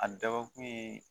A dabɔ kun ye